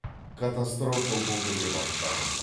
катастрофа болды деп айтпадым